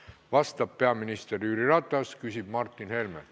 Vastab peaminister Jüri Ratas, küsib Martin Helme.